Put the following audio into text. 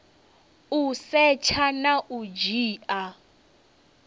u setsha na u dzhia